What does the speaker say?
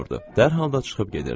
Dərhal da çıxıb gedirdi.